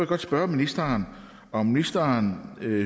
godt spørge ministeren om ministeren